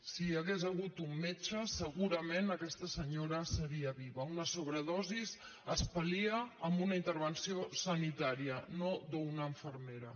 si hi hagués hagut un metge se·gurament aquesta senyora seria viva una sobredosi es pal·lia amb una intervenció sanitària no d’una infer·mera